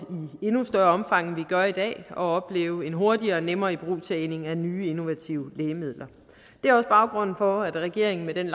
i endnu større omfang end vi gør i dag at opleve en hurtigere og nemmere ibrugtagning af nye innovative lægemidler det er også baggrunden for at regeringen med den